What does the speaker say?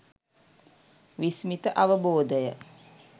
විස්මිත අවබෝධය